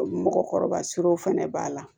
Mɔgɔkɔrɔba siranw fɛnɛ b'a la